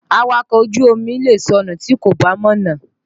Awakọ̀ ojú omi lè sọnù tí kò bá mọ̀nà.